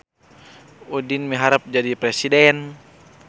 Udin miharep jadi presiden